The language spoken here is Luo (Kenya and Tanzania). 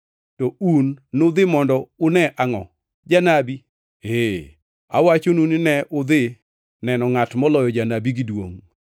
To un nudhi mondo une angʼo? Janabi? Ee, awachonu, ni ne udhi neno ngʼat moloyo janabi gi duongʼ.